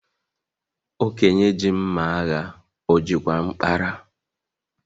Okenye ji mma agha o jikwa mkpara?